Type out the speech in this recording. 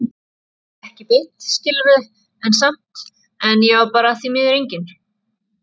Ekki beint, skilurðu, en samt- En ég var bara því miður engin